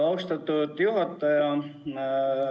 Austatud juhataja!